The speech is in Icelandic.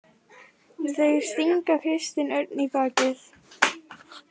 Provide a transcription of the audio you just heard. Þeir stinga Kristinn Örn í bakið